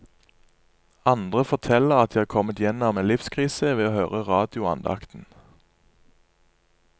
Andre forteller at de har kommet gjennom en livskrise ved å høre radioandakten.